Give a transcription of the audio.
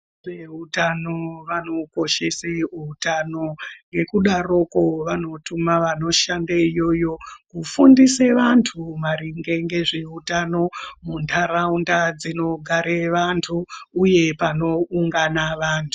Veutano vanokoshese utano ngekudaroko vanotuma vanoshande iyoyo kufundise antu maringe ngezveutano muntaraunda dzinogare vantu uye panoungana vantu.